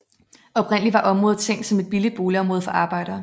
Oprindelig var området tænkt som et billigt boligområde for arbejdere